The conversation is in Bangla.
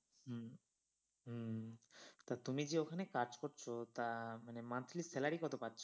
হম হম হম তা তুমি যে ওখানে কাজ করছ তা মানে monthly salary কত পাচ্ছ?